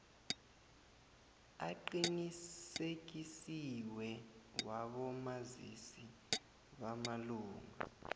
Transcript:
aqinisekisiweko wabomazisi bamalunga